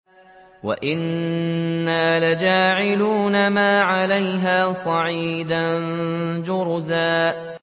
وَإِنَّا لَجَاعِلُونَ مَا عَلَيْهَا صَعِيدًا جُرُزًا